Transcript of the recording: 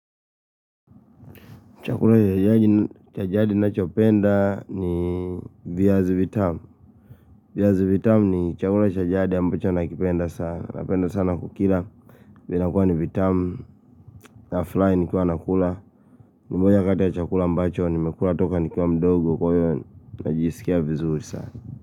Chakula cha jadi ninachopenda ni viazi vitamu. Viazi vitamu ni chakula cha jadi ambacho nakipenda sana. Napenda sana kukila. Vinakuwa ni vitamu. Nafurahi nikiwa nakula. Ni moja kati ya chakula ambacho nimekula toka nikiwa mdogo kwa hivyo. Najisikia vizuri sana.